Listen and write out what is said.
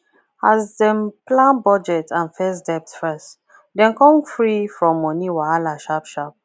as dem plan budget and face debt first dem come free from money wahala sharp sharp